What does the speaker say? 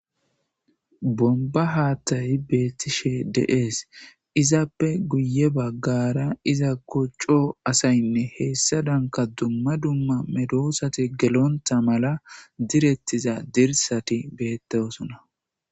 bomba haaththayi beettishe de7ees izappe guye baggara iza kocco asaynne heessa danka dumma dumma medoosati gelontha mala direttiza dirsati beettaosona